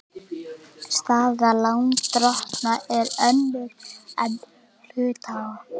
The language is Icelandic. Staða lánardrottna er önnur en hluthafa.